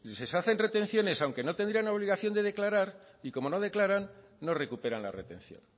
si se hacen retenciones aunque no tendrían la obligación de declarar y como no declaran no recuperan la retención